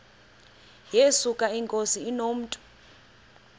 yesuka inkosi inomntu